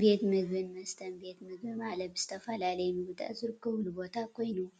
ቤት ምግቢን መስተን ቤት ምግቢ ማለት ዝተፈላለዩ ምግቢታት ዝርከበሉ ቦታ ኮይኑ ፤